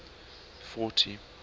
fourty